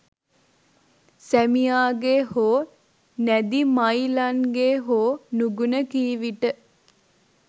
සැමියාගේ හෝ නැදි මයිලන්ගේ හෝ නුගුණ කී විට